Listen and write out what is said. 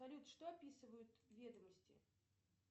салют что описывают ведомости